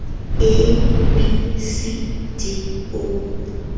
a b c d o